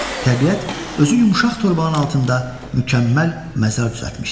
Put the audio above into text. Təbiət özü yumşaq torbanın altında mükəmməl məzar düzəltmişdi.